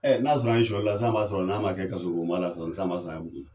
Ɛ n'a sɔrɔ an ye soɲɛlila sisan b'a sɔrɔ n'a man kɛ kaso bonba la sɔni sisan b'a sɔrɔ an ye muso furu